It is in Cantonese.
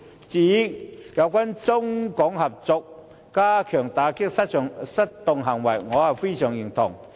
至於中港合作加強打擊失當行為，我是非常認同。